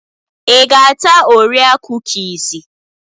Ịga-ata orea kukisi?